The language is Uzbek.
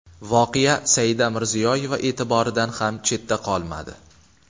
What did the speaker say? Voqea Saida Mirziyoyeva e’tiboridan ham chetda qolmadi .